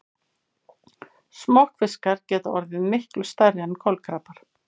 Smokkfiskar geta orðið miklu stærri en kolkrabbar.